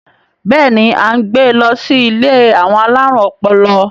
Béèni a n gbè lo sí ilé àwọn alarun ọpọlọ